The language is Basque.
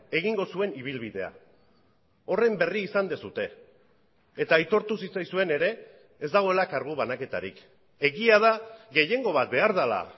egingo zuen ibilbidea horren berri izan duzue eta aitortu zitzaizuen ere ez dagoela kargu banaketarik egia da gehiengo bat behar dela